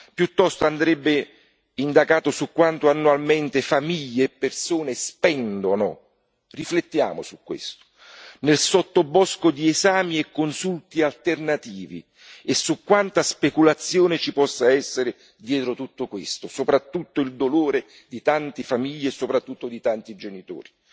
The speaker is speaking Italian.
Piuttosto andrebbe indagato su quanto annualmente famiglie e persone spendono riflettiamo su questo nel sottobosco di esami e consulti alternativi e su quanta speculazione ci possa essere dietro tutto questo, soprattutto il dolore di tante famiglie e di tanti genitori.